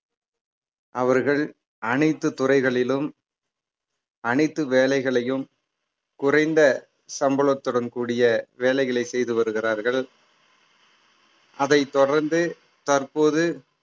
அவர்கள் அனைத்து துறைகளிலும் அனைத்து வேலைகளையும் குறைந்த சம்பளத்துடன் கூடிய வேலைகளை செய்து வருகிறார்கள் அதைத் தொடர்ந்து தற்போது